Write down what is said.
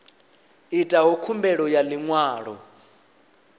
itaho khumbelo ya ḽi ṅwalo